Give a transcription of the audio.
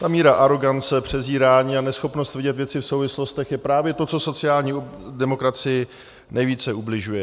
Ta míra arogance, přezírání a neschopnost vidět věci v souvislostech je právě to, co sociální demokracii nejvíce ubližuje.